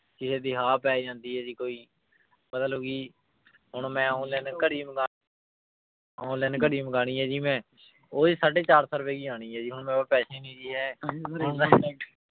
ਕਿਸੇ ਦੀ ਹਾ ਪੈ ਜਾਂਦੀ ਹੈ ਜੀ ਕੋਈ ਮਤਲਬ ਕਿ ਹੁਣ ਮੈਂ online ਘੜੀ ਮੰਗਾ online ਘੜੀ ਮੰਗਵਾਉਣੀ ਹੈ ਜੀ ਮੈਂ, ਉਹ ਜੀ ਸਾਢੇ ਚਾਰ ਸੌ ਰੁਪਏ ਕੀ ਆਉਣੀ ਹੈ ਜੀ, ਹੁਣ ਮੇਰੇ ਕੋਲ ਪੈਸੇ ਨੀ ਜੀ ਹੈ